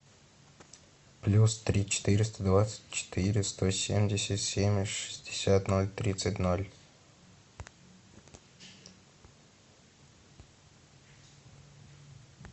плюс три четыреста двадцать четыре сто семьдесят семь шестьдесят ноль тридцать ноль